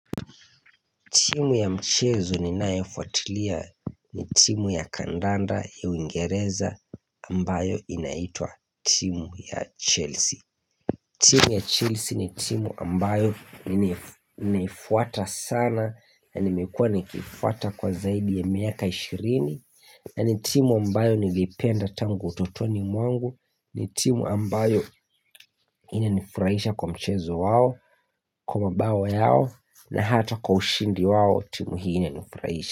Timu ya mchezo ninayo fuatilia ni timu ya kandanda ya uingereza ambayo inaitwa timu ya Chelsea. Timu ya Chelsea ni timu ambayo naifuata sana na nimekua nikiifuata kwa zaidi ya miaka ishirini. Na ni timu ambayo nilipenda tangu utotoni mwangu ni timu ambayo inanifurahisha kwa mchezo wao Kwa mabao yao na hata kwa ushindi wao timu hii inanifurahisha.